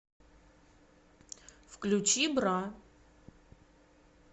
включи бра